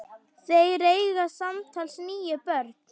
Þeir eiga samtals níu börn.